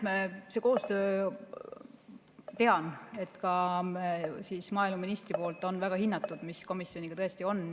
Tean, et see koostöö, mis komisjoniga tõesti on, on ka maaeluministri poolt väga hinnatud.